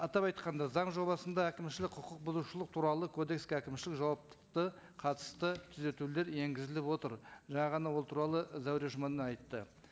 атап айтқанда заң жобасында әкімшілік құқық бұзушылық туралы кодекске әкімшілік жауаптықты қатысты түзетулер енгізіліп отыр жаңа ғана ол туралы зәуре жұмановна айтты